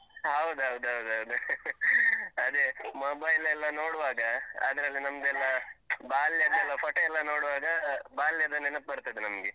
ಹ. ಹೌದೌದು ಹೌದೌದು ಅದೇ ಅದೇ. mobile ಎಲ್ಲ ನೋಡುವಾಗ ಅದ್ರಲ್ಲಿ ನಮ್ದೇಲ್ಲ ಬಾಲ್ಯದೆಲ್ಲ photo ಎಲ್ಲ ನೋಡುವಾಗ, ಬಾಲ್ಯದ ನೆನಪು ಬರ್ತದೆ ನಮ್ಗೆ.